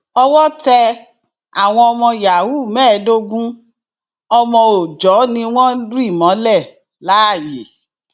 owó tẹ àwọn ọmọ yahoo mẹẹẹdógún ọmọ òòjọ ni wọn rì mọlẹ láàyè